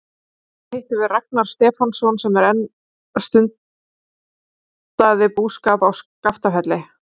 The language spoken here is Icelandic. Þar hittum við Ragnar Stefánsson sem enn stundaði búskap á Skaftafelli.